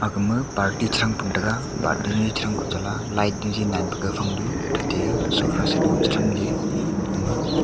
agama party chi thangpun taga party ni chi thang koh chala light jaji naan pu gag fang duh thate sofa seat gama chi thamley gamau--